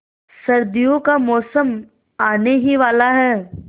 सर्दियों का मौसम आने ही वाला है